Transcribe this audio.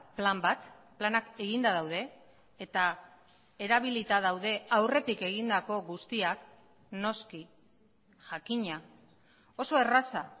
plan bat planak eginda daude eta erabilita daude aurretik egindako guztiak noski jakina oso erraza